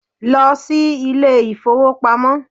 Lọ si ilé ìfọwọ́pamo!